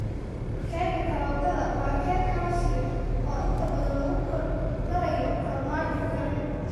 Keega karootada waa keeg xawaash leh oo inta badan lagu kor darayo farmaajo kareem.